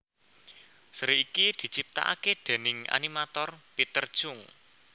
Seri iki diciptakaké déning animator Peter Chung